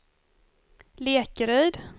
Lekeryd